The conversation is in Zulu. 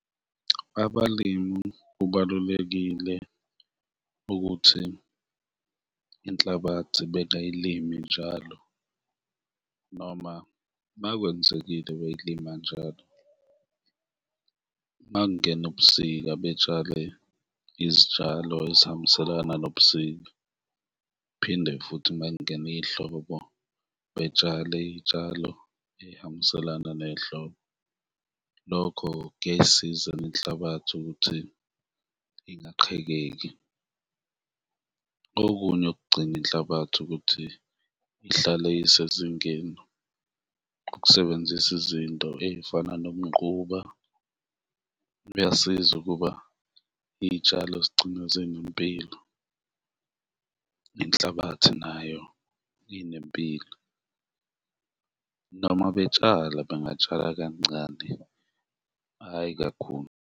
Abalimi kubalulekile ukuthi inhlabathi bayilime njalo noma makwenzekile beyilima njalo, makungena ubusika betshale izitshalo ezihambiselana nobusika phinde futhi mekungena ihlobo betshale iy'tshalo ey'hambiselana nehlobo, lokho kuyayisiza nenhlabathi ukuthi ingaqhekeki. Okunye okugcina inhlabathi ukuthi ihlale isezingeni ukusebenzisa izinto ey'fana nomquba, uyasiza ukuba iy'tshalo zigcine zinempilo nenhlabathi nayo inempilo noma betshala bengatshala kancane, hhayi kakhulu.